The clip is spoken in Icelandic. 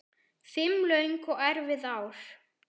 Fimm löng og erfið ár.